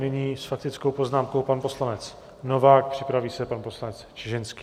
Nyní s faktickou poznámkou pan poslanec Novák, připraví se pan poslanec Čižinský.